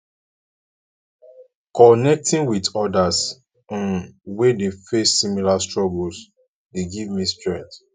connecting with odas um wey dey face similar struggles dey give me strength